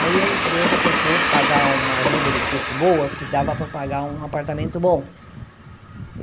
Aí a empresa propôs pagar uma ajuda de custo boa, que dava para eu pagar um apartamento bom.